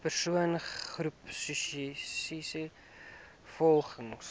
persoon groepsessies volgens